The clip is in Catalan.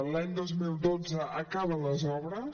l’any dos mil dotze acaben les obres